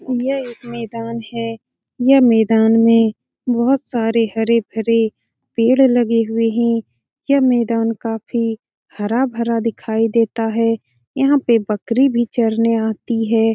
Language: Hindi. यह एक मैदान है यह मैदान में बहुत सारे हरे-भरे पेड़ लगे हुए हैं यह मैदान काफी हरा-भरा दिखाई देता है यहां पे बकरी भी चरने आती है।